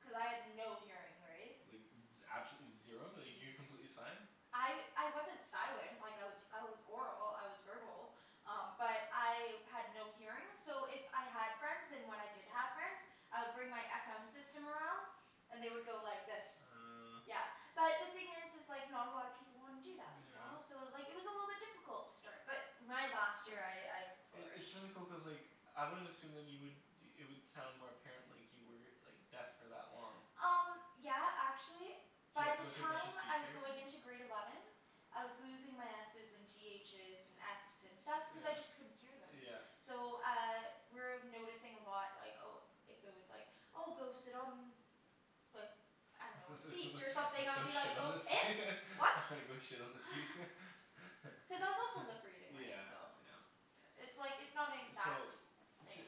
Cuz I had no hearing, right? Like z- absolutely zero? Like you were completely sign? I I wasn't silent, like I was I was oral, I was verbal. Um but I had no hearing, so if I had friends, and when I did have friends I would bring my FM system around. And they would go like this. Uh Yeah. But the thing is is like, not a lot of people wanna do that, you know? So Yeah. it was like, it was a little bit difficult to start. But my last year I, I I- it's flourished. really cool, cuz like I wouldn't assume then you would, it would sound more apparent like you were like deaf for that long. Um yeah, actually Did you by have to the go through a bunch of time speech I was therapy? going into grade eleven I was losing my S's and T H's and F's and stuff cuz I Yeah. just couldn't hear them. Yeah. So uh, we were noticing a lot like, oh if if there was like, oh go sit on like I dunno, a let's go seat or something, I would be like, shit on "Go the seat. it? What?" Go shit on the seat. Cuz I was also lip reading, right? Yeah, So yeah. It's like, it's not an So exact d-